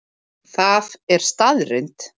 Það er staðreynd